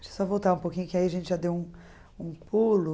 Deixa eu só voltar um pouquinho, que aí a gente já deu um pulo.